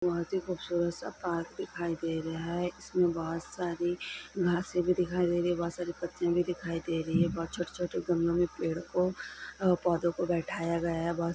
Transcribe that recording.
बहोत ही खूबसूरत सा पार्क दिखाई दे रहा है जिसमे बहोत सारी घासे भी दिखाई दे रही है बहोत सारी पत्तियाँ भी दिखाई दे रही है बहोत छोटे-छोटे गमलो में पेड़ को अ पोधो को बैठाया गया है। ब--